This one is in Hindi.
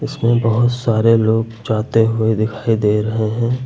इसमें बहुत सारे लोग जाते हुए दिखाई दे रहे हैं।